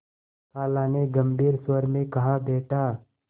खाला ने गम्भीर स्वर में कहाबेटा